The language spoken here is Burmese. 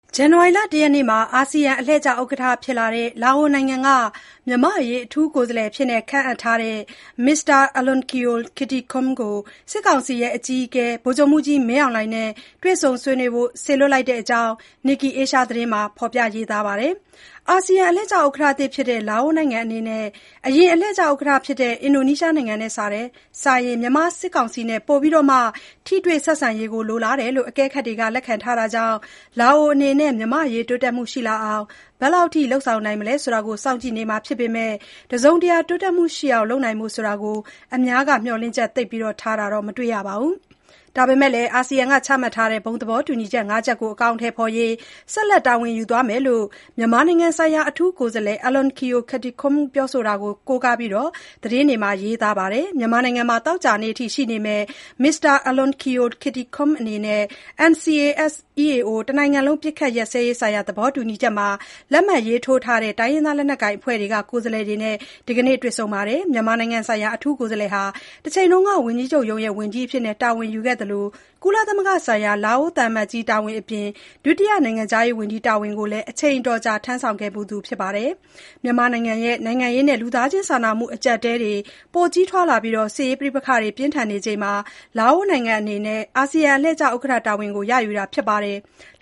ဇန်နဝါရီ ၁ ရက်မှာ အာဆီယံအလှည့်ကျ ဥက္ကဋ္ဌဖြစ်လာတဲ့ လာအိုနိုင်ငံက မြန်မာ့အရေး အထူးကိုယ်စားလှယ်အဖြစ် ခန့်အပ်ထားတဲ့ မစ္စတာ Alounkeo Kittikhoun ကို စစ်ကောင်စီအကြီးအကဲ ဗိုလ်ချုပ်မှူးကြီး မင်းအောင်လှိုင်နဲ့ တွေ့ဆုံဆွေးနွေးဖို့ စေလွှတ်လိုက်ပါတယ်။ အာဆီယံ အလှည့်ကျ ဥက္ကဋ္ဌသစ် ဖြစ်တဲ့ လာအိုနိုင်ငံအနေနဲ့ အရင် အလှည့်ကျ ဥက္ကဋ္ဌဖြစ်တဲ့ အင်ဒိုနီးရှားနိုင်ငံနဲ့စာရင် မြန်မာစစ်ကောင်စီနဲ့ ပိုပြီး ထိတွေ့ ဆက်ဆံရေးကို လိုလားတယ်လို့ အကဲခတ်တွေက လက်ခံထားကြတာကြောင့် လာအိုအနေနဲ့ မြန်မာ့အရေး တိုးတက်မှုရှိလာအောင် ဘယ်လောက်အထိ လုပ်ဆောင်နိုင်မလဲဆိုတာကို စောင့်ကြည့်နေကြမှာ ဖြစ်ပေမဲ့ တစုံတရာ တိုးတက်မှုရှိအောင် လုပ်နိုင်ဖို့ဆိုတာကို အများက မျှော်လင့်ချက် သိပ်ထားတာ မတွေ့ရပါဘူး။ ဒါပေမဲ့လည်း အာဆီယံက ချမှတ်ထားတဲ့ ဘုံသဘောတူညီချက် (၅) ချက်ကို အကောင်အထည်ဖေါ်ရေးအတွက် ဆက်လက် တာဝန် ယူသွားမယ်လို့ မြန်မာနိုင်ငံဆိုင်ရာ အထူးကိုယ်စားလှယ် Alounkeo Kittikhoun ပြောဆိုတာကို ကိုးကားပြီး သတင်းတွေမှာ ရေးသားကြပါတယ်။ မြန်မာနိုင်ငံမှာ သောကြာနေ့အထိ ရှိနေမယ့် မစ္စတာ Alounkeo Kittikhoun ဟာ NCA-S EAO တနိုင်ငံလုံးပစ်ခတ်ရပ်စဲရေး သဘောတူညီချက်မှာ လက်မှတ်ရေးထိုးထားတဲ့ တိုင်းရင်းသားလက်နက်ကိုင်အဖွဲ့တွေက ကိုယ်စားလှယ်တွေနဲ့ ဒီကနေ့ တွေ့ဆုံခဲ့ပါတယ်။ Alounkeo Kittikhoun ဟာ တချိန်က ဝန်ကြီးချုပ်ရုံးရဲ့ ဝန်ကြီးအဖြစ် တာဝန်ယူခဲ့သူဖြစ်သလို၊ ကုလသမဂ္ဂဆိုင်ရာ လာအိုသံအမတ်ကြီး တာဝန်အပြင် ဒုတိယနိုင်ငံခြားရေးဝန်ကြီး တာဝန်တွေကိုလည်း အချိန်အတော်ကြာ ထမ်းဆောင်ဖူးသူ ဖြစ်ပါတယ်။ မြန်မာနိုင်ငံရဲ့ နိုင်ငံရေးနဲ့ လူသားချင်းစာနာမှု အကြပ်အတည်းတွေ ပိုကြီးထွားလာပြီး စစ်ရေးပဋိပက္ခတွေ ပြင်းထန်နေချိန်မှာ လာအိုနိုင်ငံအနေနဲ့ အာဆီယံ အလှည့်ကျ ဥက္ကဋ္ဌ တာဝန်ကို ရယူတာဖြစ်ပါတယ်။